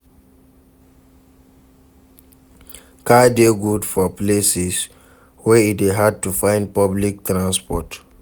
Car de good for places wey e de hard to find public transport